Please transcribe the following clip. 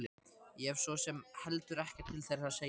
Ég hef svo sem heldur ekkert til þeirra að sækja.